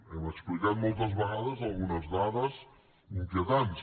hem explicat moltes vegades algunes dades inquietants